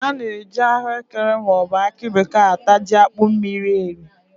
A na- ajikwa ahụ ekere ma ọ bụ akị bekee ata jí akpụ mmiri eri